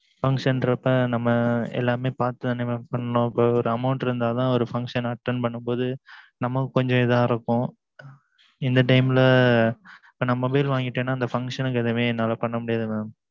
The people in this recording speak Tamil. function ற அப்பம் நம்ம எல்லாம் பாத்துத்தானே mam பண்ணனும் அப்பம் ஒரு amount நமக்கு கொஞ்சம் இதா இருக்கும் இந்த time ல நம்ம இத வாங்கிட்டா அந்த function ஏதும் பண்ண முடியாது